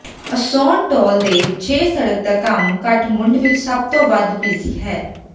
ਅਸੌਨ ਟੋਲ ਦੇ ਛੇ ਸੜਕ ਦਾ ਕੰਮ ਕਾਠਮੰਡੂ ਵਿਚ ਸਭ ਤੋਂ ਵੱਧ ਬਿਜ਼ੀ ਹੈ